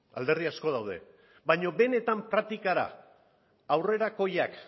alderdi asko daude baina benetan praktikara aurrerakoiak